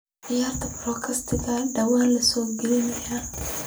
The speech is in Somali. ciyaar podcast-ka dhawaan la soo galiyay